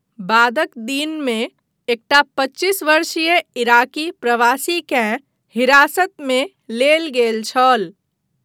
बादक दिनमे, एकटा पच्चीस वर्षीय इराकी प्रवासीकेँ हिरासतमे लेल गेल छल।